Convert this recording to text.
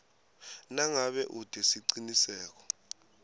nangabe ute siciniseko